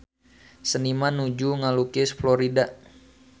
Seniman nuju ngalukis Florida